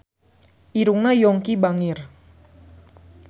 Irungna Yongki bangir